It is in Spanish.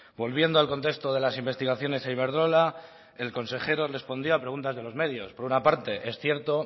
volviendo al contexto de las investigaciones a iberdrola el consejero respondía a preguntas de los medios por una parte es cierto